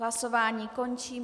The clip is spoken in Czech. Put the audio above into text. Hlasování končím.